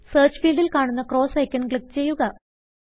Searchഫീൽഡിൽ കാണുന്ന cross icon click ചെയ്യുക